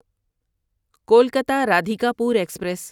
Kolkata Radhikapur express